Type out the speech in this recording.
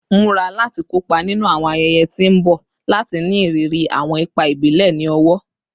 Mura lati kopa ninu awọn ayẹyẹ ti n bọ lati ni iriri awọn ipa ibile ni ọwọ